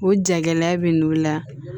O jagɛlɛya bɛ n'u la